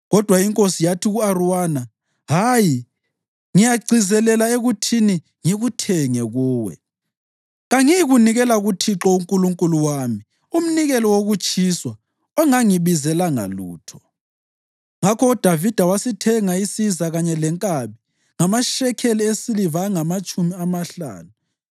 Kodwa inkosi yathi ku-Arawuna, “Hayi, ngiyagcizelela ekuthini ngikuthenge kuwe. Kangiyikunikela kuThixo uNkulunkulu wami umnikelo wokutshiswa ongangibizelanga lutho.” Ngakho uDavida wasithenga isiza kanye lenkabi ngamashekeli esiliva angamatshumi amahlanu.